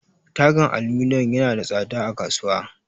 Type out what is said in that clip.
Tagan aluminum yana da tsada a kasuwa.